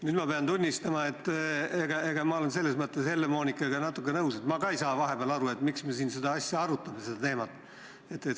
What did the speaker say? Nüüd ma pean tunnistama, et ma olen selles mõttes Helle-Moonikaga natuke nõus, et ma ka ei saa vahepeal aru, miks me siin seda teemat arutame.